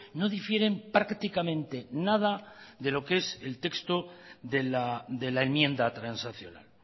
no difieren prácticamente nada de lo que es el texto de la enmienda transaccional